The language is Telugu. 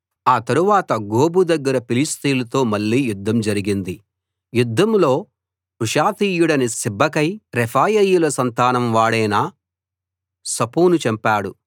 ఆ తరువాత గోబు దగ్గర ఫిలిష్తీయులతో మళ్ళీ యుద్ధం జరిగింది యుద్ధంలో హూషాతీయుడైన సిబ్బెకై రెఫాయీయుల సంతానం వాడైన సఫును చంపాడు